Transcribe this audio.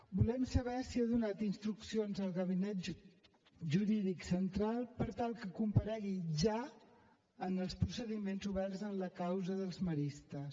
volem saber si ha donat instruccions al gabinet jurídic central per tal que comparegui ja en els procediments oberts en la causa dels maristes